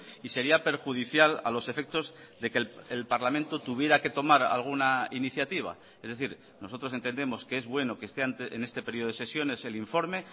y sería perjudicial a los efectos de que el parlamento tuviera que tomar alguna iniciativa es decir nosotros entendemos que es bueno que esté en este periodo de sesiones el informe